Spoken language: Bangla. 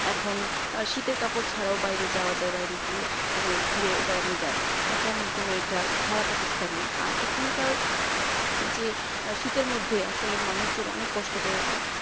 এখন শীতের কাপড় ছাড়াও বাইরে যাওয়া যায় বাইরে গিয়ে মানে ঘুরে বেড়ানো যায় তেমন কোন একটা খারাপ অবস্থা নেই আর এখানকার যে শীতের মধ্যে আসলে মানুষজন অনেক অনেক কষ্ট করেছে